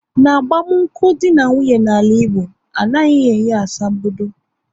N'agbamunkwu dị na nwunye na ala Igbo, anaghị enye asambodo